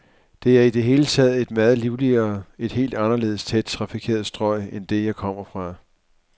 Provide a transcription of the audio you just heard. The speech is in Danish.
Det er i det hele taget et meget livligere, et helt anderledes tæt trafikeret strøg end det, jeg kom fra.